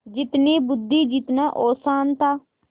जितनी बुद्वि जितना औसान था